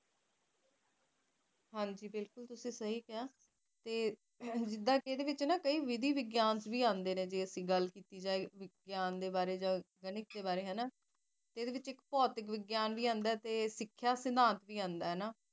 ਜਿਦਾ ਕਿ ਇਸ ਵਿੱਚ ਨਾ ਕਈ ਵਿਧੀ ਵਿਗਿਆਨ ਵੀ ਆਂਦੇ ਨੇ ਜਿਦਾ ਅਸੀ ਗੱਲ ਕੀਤੀ ਜਾਵੇ ਵਿਗਿਆਨ ਦੇ ਬਾਰੇ ਜਾ ਗਣਿਤ ਦੇ ਵਾਰੇ ਹਨਾ ਇਹਦੇ ਵਿੱਚ ਇੱਕ ਭੋਤਿਕ ਵਿਗਿਆਨ ਵੀ ਆਂਦਾ ਤੇ ਸਿਖਿਆ ਵਿਗਿਆਨ ਵੀ ਆਂਦਾ ਹਨਾ